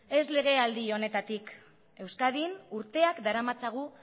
ez legealdi honetatik euskadin urteak daramatzagu